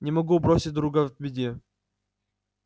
не могу бросить друга в беде